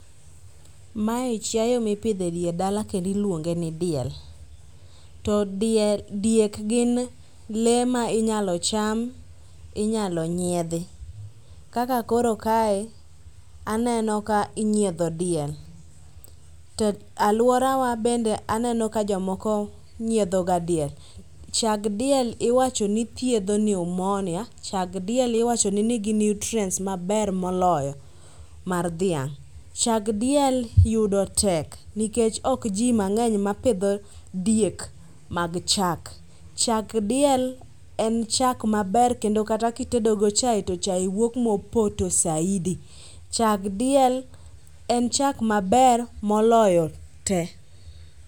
Mae chiayo mipidho e dier dala kendo iluonge ni diel. To diek gin lee ma inyalo cham, inyalo nyiedhi. Kaka koro kae aneno ka inyiedho diel to alworawa bende aneno ka jomoko nyiedhoga diel. Chak diel iwacho ni thiedho pneumonia chag diel iwacho ni nigi nutrients maber moloyo mar dhiang'. Chag diel yudo tek nikech ok ji mang'eny mapidho diek mag chak. Chag diel en chak maber kendo kata kitedogo chae to chae wuok mopoto saidi, chag diel en chak maber moloyo te.